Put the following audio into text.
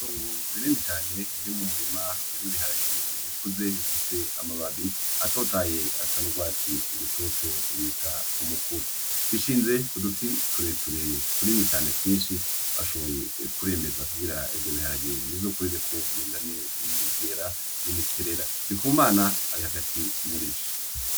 Itongo rinini cane uri mumurima w'ibiharageye bikuze bifise amababi atotaye asana n'urwatsi rutoto bita umukubi, bishinze k'uduti tureture tunini cane twinshi bashoboye kuremeza kugira ivyo biharage nizokurireko bizane imigera n'imikerera, ndikumana ari hagati murivyo.